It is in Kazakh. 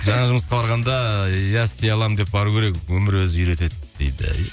жаңа жұмысқа барғанда иә істей аламын деп бару керек өмір өзі үйретеді дейді